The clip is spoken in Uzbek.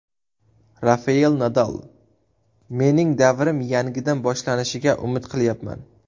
Rafael Nadal: Mening davrim yangidan boshlanishiga umid qilyapman.